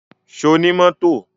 Ṣo ní mọ́tò?